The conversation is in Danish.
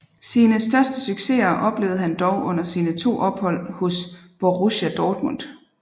Sine største succeser oplevede han dog under sine to ophold hos Borussia Dortmund